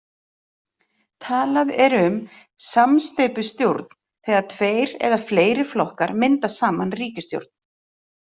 Talað er um samsteypustjórn þegar tveir eða fleiri flokkar mynda saman ríkisstjórn.